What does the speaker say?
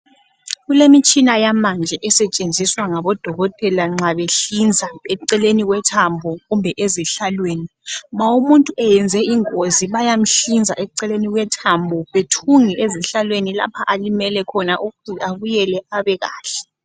Kulemitshina yamanje esetshenziswa ngabodokotela nxa behlinza eceleni kwethambo kumbe ezihlalweni. Ma umuntu eyenze ingozi bayamhlinza eceleni kwethambo bethunge ezihlalweni lapha alimele khona ukuthi abuyele abekahle.